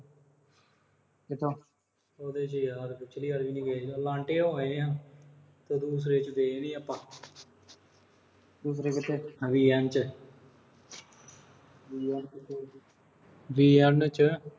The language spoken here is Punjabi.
ਕਿੱਥੇ। ਉਦੇ ਚ ਯਾਰ, ਪਿਛਲੀ ਵਾਰ ਗਏ ਨੀਂ ਸੀ ਆਪਾਂ। Elante ਹੋਣਾ ਆ। ਦੂਸਰੇ ਚ ਗਏ ਨੀਂ ਸੀ ਆਪਾਂ। ਦੂਸਰੇ ਕਿੱਥੇ VN ਚ। VN ਕਿ ਕੋਈ ਹੋਰ VN ਚ।